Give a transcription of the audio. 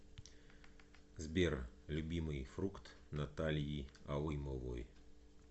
сбер любимый фрукт натальи алымовой